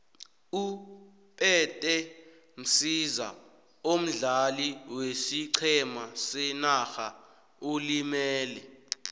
upete msiza omdlali wesiqhema senarha ulimele